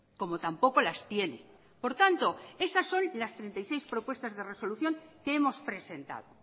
como tampoco las tiene por tanto esas son las treinta y seis propuestas de resolución que hemos presentado